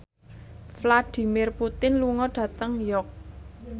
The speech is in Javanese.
Vladimir Putin lunga dhateng York